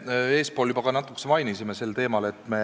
Me eespool juba natuke rääkisime sel teemal, et me